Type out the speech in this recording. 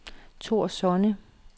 Thor Sonne